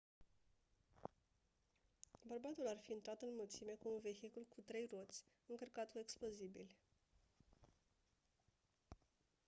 bărbatul ar fi intrat în mulțime cu un vehicul cu trei roți încărcat cu explozibili